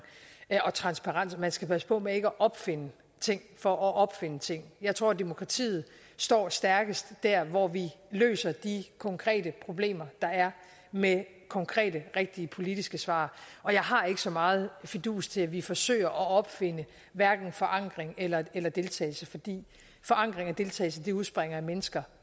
og transparens at man skal passe på med ikke at opfinde ting for at opfinde ting jeg tror at demokratiet står stærkest der hvor vi løser de konkrete problemer der er med konkrete rigtige politiske svar jeg har ikke så meget fidus til at vi forsøger at opfinde hverken forankring eller eller deltagelse fordi forankring og deltagelse udspringer af mennesker